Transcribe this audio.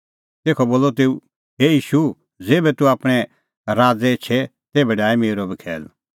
तेखअ बोलअ तेऊ हे ईशू ज़ेभै तूह आपणैं राज़ एछे तेभै डाहै मेरअ बी खैल